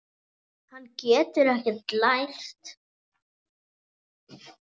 Hann getur ekkert lært.